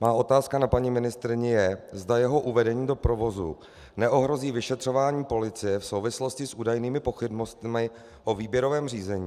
Moje otázka na paní ministryni je, zda jeho uvedení do provozu neohrozí vyšetřování policie v souvislosti s údajnými pochybnostmi o výběrovém řízení.